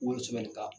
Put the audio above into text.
Wolo sɛbsnka